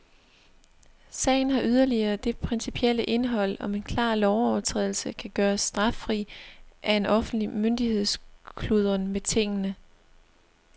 Sagen har yderligere det principielle indhold, om en klar lovovertrædelse kan gøres straffri af en offentlig myndigheds kludren med tingene.